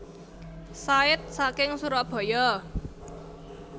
Said saking Surabaya